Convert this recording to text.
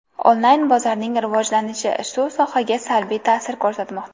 Online bozorning rivojlanishi bu sohaga salbiy ta’sir ko‘rsatmoqda.